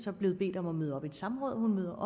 er blevet bedt om at møde op i et samråd og hun møder